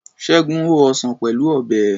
Ṣẹ́gun ho ọsàn Pẹ̀lú Ọ̀bẹ.